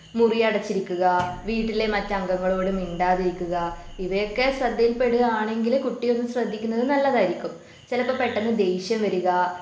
മുറിയടച്ച് ഇരിക്കുക വീട്ടിലെ മറ്റ് അംഗങ്ങളോട് മിണ്ടാതിരിക്കുക ഇവയൊക്കെ ശ്രദ്ധയിൽപ്പെടുകയാണെങ്കില് കുട്ടിയെ ഒന്ന് ശ്രദ്ധിക്കുന്നത് നല്ലതായിരിക്കും. ചിലപ്പോ പെട്ടെന്ന് ദേഷ്യം വരിക